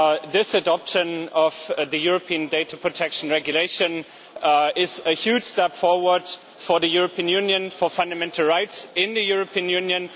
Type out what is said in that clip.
This adoption of the European Data Protection Regulation is a huge step forward for the European Union and for fundamental rights in the European Union.